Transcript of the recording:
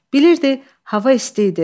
Bilirdi hava isti idi.